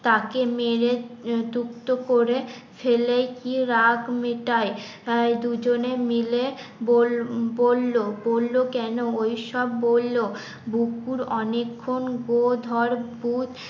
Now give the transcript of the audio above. তাকে মেরে তুপ্ত করে ফেলে কি রাগ মেটাই দুজনে মিলে বল বললো, বললো কেন ওইসব বললো বুকুর অনেকক্ষণ গো ধর পু